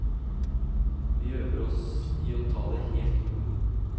Vi øver oss i å ta det helt med ro.